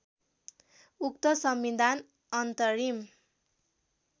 उक्त संविधान अन्तरिम